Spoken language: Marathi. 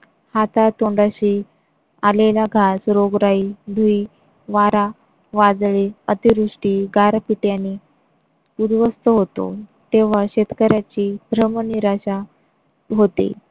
हातातोंडाशी आलेला घास, रोगराई, धुळी, वारा, वादळे अतिवृष्टी, गारपीट यांनी उद्ध्वस्त होतो तेव्हा शेतकऱ्यांची भ्रम निराशा होते.